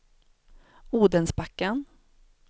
Odensbacken